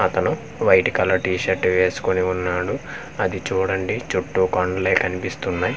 అతను white colour T shirt వేసుకొని ఉన్నాడు అది చూడండి చుట్టూ కొండలే కనిపిస్తున్నయ్.